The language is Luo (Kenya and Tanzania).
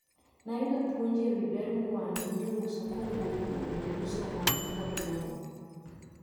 Nayudo puonj ewi ber mar mwandu miuso kowuok kuom jouso manikod lony.